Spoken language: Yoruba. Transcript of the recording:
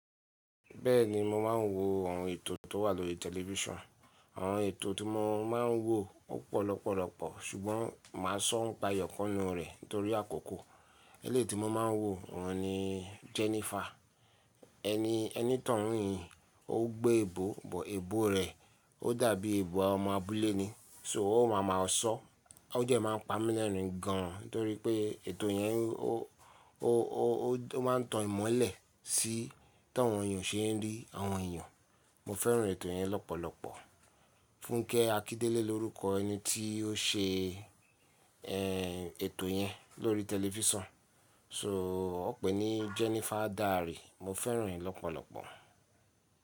Bẹ́ẹ̀ni mo máa ń wo àwọn ètò tó wà lórí tẹlifísàn. Àwọn ètò tí mo máa ń wo o pọ̀ lọpọ̀lọpọ̀ ṣùgbọ́n mà á sọ nipá eyọ̀kan ninu rẹ̀ nítorí àkókò. Eléyi ti mo máa ń wo òun ni Jennifer. Ẹni, ẹnitoun yen ó gbé ebo, but ebo rẹ̀ ó dàbí ebo ọmọ abúlé ni, so ó ma ma ọ̀sọ́. O dẹ máa ń pa mí lẹ́rin gan nítorí pé ètò yẹn ó, ó, ó, ó máa ń tan ìmọ́lẹ̀ sí ti áwọn èèyàn ṣe ń rí àwọn èèyàn. Mo fẹ́ràn ètò yẹn lọ́pọ̀lọpọ̀. Fúnkẹ́ Akíndélé lórúkọ ẹni tí ó ṣe, ẹ́ n, ètò yẹn lórí tẹlifísàn. So ó won n pè ní Jennifer's Diary. Mo fẹ́ràn rẹ̀ lọ́pọ̀lọpọ̀.